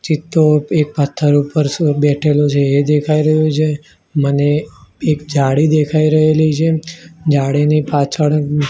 ચિત્તો એક પથ્થર ઉપર બેઠેલો છે એ દેખાય રહ્યુ છે મને એક જાળી દેખાય રહેલી છે જાળીની પાછળ--